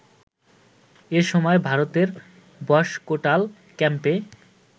এ সময় ভারতের বসকোটাল ক্যাম্পে